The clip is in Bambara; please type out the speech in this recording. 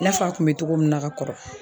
I n'a fɔ a kun me togo min na ka kɔrɔ